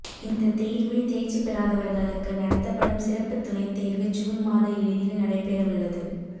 இந்த தேர்வில் தேர்ச்சி பெறாதவர்களுக்கு நடத்தப்படும் சிறப்பு துணைத் தேர்வு ஜூன் மாத இறுதியில் நடைபெறவுள்ளது